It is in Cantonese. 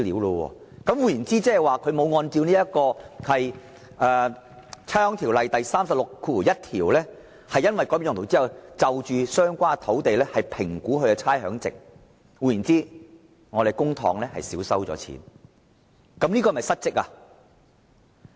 換言之，估價署未有按照《差餉條例》第361條的規定，在有關地段改變用途後評估其差餉值，那麼政府便少收了稅款。